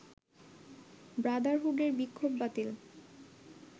ব্রাদারহুডের বিক্ষোভ বাতিল